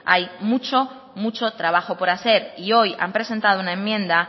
hay mucho trabajo por hacer y hoy han presentado una enmienda